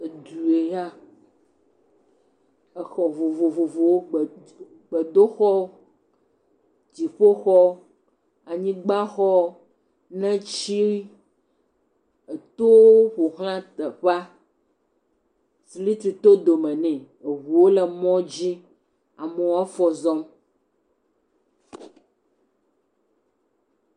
Edu ya, exɔ vovovovowo gbedoxɔ, dziƒoxɔ, anyigbaxɔ, neti eteowo ƒoxla teƒea, siriki to dome ne eŋuwo le mɔ dzi amewo afɔ zɔm.